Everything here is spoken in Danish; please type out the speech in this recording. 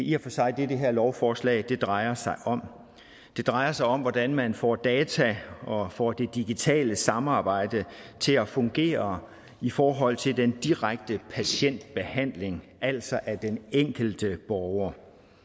i og for sig det det her lovforslag drejer sig om det drejer sig om hvordan man får data og får det digitale samarbejde til at fungere i forhold til den direkte patientbehandling altså af den enkelte borger